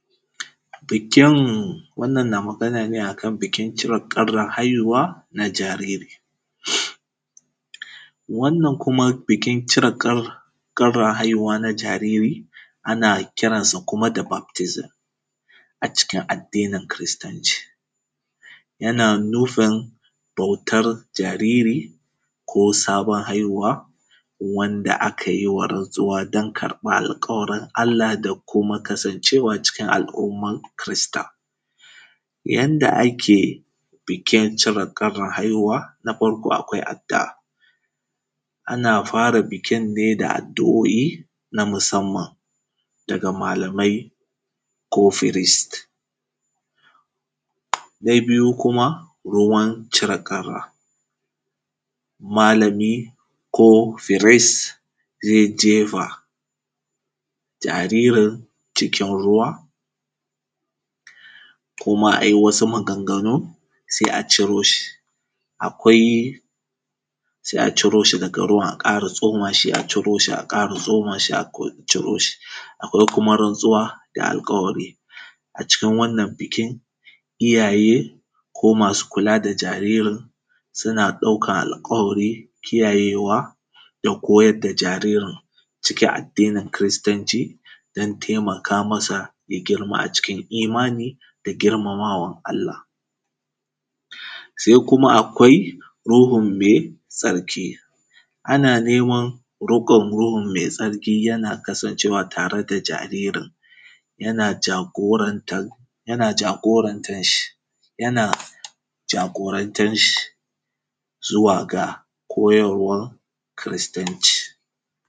Bikin wannan na maganaa ne a kan bikin ciwon ƙabran haihuwa na jariri, wannan kuma bikin cire ƙabran haihuwa na jariri ana kiran sa kuma da baktizim a cikin addinin kiristanci, yana nufin bautan jariri ko sabon haihuwa wanda aka yi rantsuwa don karɓa alkawarin da kuma kasancewa cikin al’umman kirista. Yanda ake bikin cire karɓa haihuwa na farko akwai addu’a ana fara bikin ne da addu’o’i na musamman daga malamai ko feris na biyu kuma ruwan cire ƙara malami ko feris ze jefa jaririn cikin ruwa kuma a yi wasu maganganu se a ciro shi. Akwai se a cire shi, se a ƙara tsoma shi a ciro shi, se a ƙara tsoma shi a ciro shi a ƙara tsomashi a ko ciro shi, akwai kuma rantsuwa da alƙawari a cikin wannan bikin, iyaye masu kula da jaririn suna ɗaukan alƙawari kiyayewa da jaririn ciki addinin kiristanci dan taimaka masa da girma a cikin imani da girmamawa. Se kuma akwai ruhun me tsarki, ana neman roƙan ruhin me tsarki yana ya kasance tare da jaririn, yana jagorantan yana jagorantan shi, yana jagorantan shi zuwa ga koyarwan kiristanci.